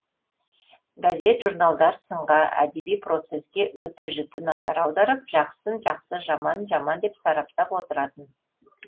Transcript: газет журналдар сынға әдеби процеске өте жіті назар аударып жақсысын жақсы жаманын жаман деп сараптап отыратын